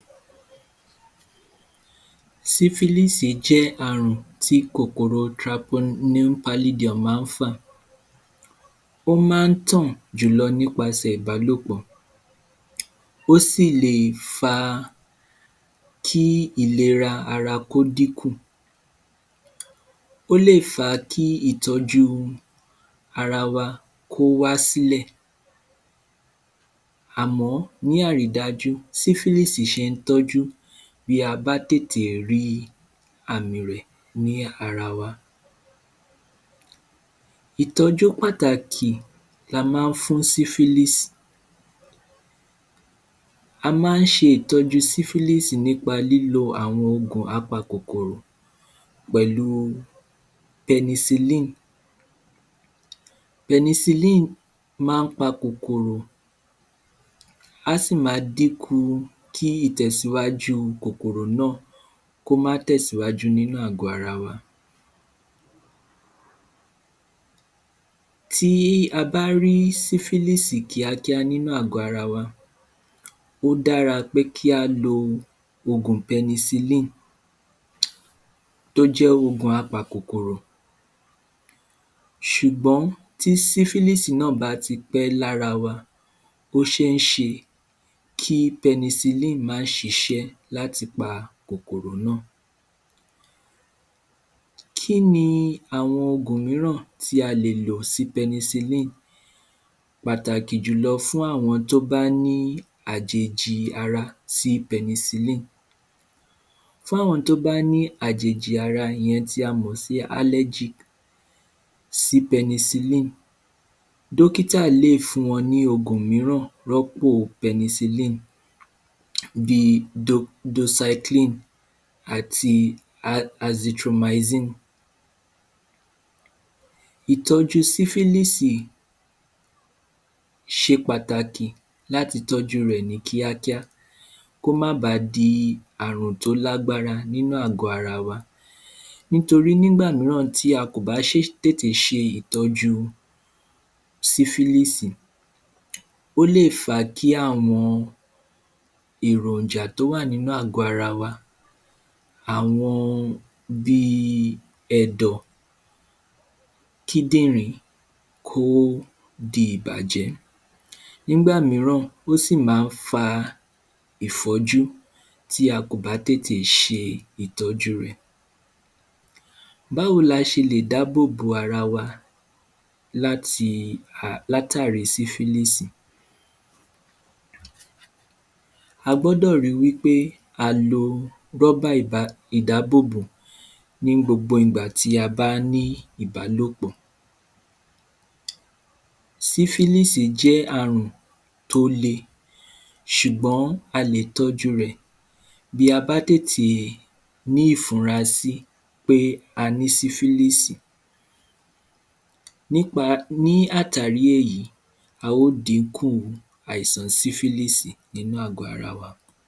Sífílìsì jẹ́ àrùn tí kòkòrò taponúpálídọmù má fà ó má tàn jùlo nípasẹ̀ ìbálòpọ̀ ó sì ì lè fa kí ìlera ara kí ó dí kù ó lè fa kí ìtọ́jú ara wa kí ó wá sí lè ara wa kó wá sí lè àmọ́ ní àrí dájú sífílìsì se tọ́jú bí a bá tètè ri àmì rẹ̀ ní ara wa ìtọ́jú pàtàkì la má fún sífílìsì a má se ìtọ́jú sífílìsì nípa lílo àwọn ọ̀gùn a pa kòkòrò pẹ̀lú pẹnisilí pẹnisilí má pa kòkòrò á sì ma dí ku kí ìtẹ̀síwájú kòkòrò náà kó má tẹ̀síwájú nínú àgọ́ ara wa tí a bá rí sífílìsì kíákíá nínú àgọ́ ara wa ó dára pé kí á lo ògùn pẹnisilí ó jẹ́ ògùn a pa kòkòrò sùgbón tí sífílìsì náà bá tí pẹ́ lára wa ó ṣé ṣe kí pẹnisilí má sisẹ́ láti pa kòkòrò náà kíni àwọn ògùn míràn tí a lèlò sí pẹnisilí pàtàkì jùlọo fún àwọn tí wọ́n bá ní àjèjì ara fú pẹnisili fún àwọn tó bá ní àjèjì ara tí a mọ̀̀ sí álégì sí pẹnisili dókítà lè fún wọn ní ògùn mí́ràn yàtọ̀ sí pẹnisili bí do dosaikílì àti atitomasikílì ì̀tọ́ju sífílìsì ṣe pàtàkì láti tọ́jú rẹ̀ ní kíá kíá kó má bà di àrùn tó lágbara nínú àgọ́ ara wa nítorí nígbà tí a kò bá tètè se se ìtọ́jú sífílìsì ó lè fa kí àwọn èròjà tó wà nínú àgọ́ ara wa àwọn bí ẹ̀dọ̀ kídìríní ó di ìbàjẹ́́ nígbà míràn ó sì má fa ìfọ́jú tí a kò bá tètè se ìtọ́jú rẹ̀ báwo la se lè dábòbò ara wa láti à látàrí sífílìsì a gbọ́dọ̀ ri wí pé a lo rọ́bà ìdábòbò ní gbogbo ìgbà tí a bá ní ìbálòpọ̀ sífílìsì jẹ́ àrùn tó le sùgbọ́n a lè tọ́jú rẹ̀ bí a bá tètè ní ìfura sí pé a ní pé a ní sífílìsì nípa ní àtàrí èyí a ó dí kù àìsàn sífílìsì nínú àgọ́ ara wa